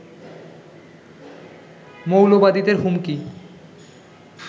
মৌলবাদীদের হুমকি